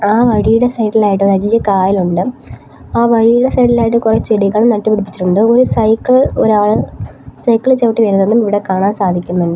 ആ വഴിയുടെ സൈഡിലായിട്ട് വലിയ കായലുണ്ട് ആ വഴിയുടെ സൈഡിലായിട്ട് കുറേ ചെടികൾ നട്ടുപിടിപ്പിച്ചിട്ടുണ്ട് ഒരു സൈക്കിൾ ഒരാൾ സൈക്കിള് ചവിട്ടി വരുന്നതും ഇവടെ കാണാൻ സാധിക്കുന്നുണ്ട്.